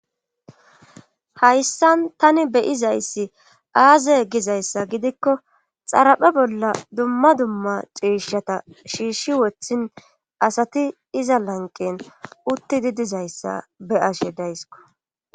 Hayssan tani beyizayssi aaze gizayssa gidikko xaraphe bolla dumma dumma ciishata shiishshi wothin asati iza lanqen utti di dizayssa be ashe daysko